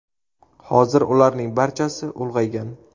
Hozir ularning barchasi ulg‘aygan.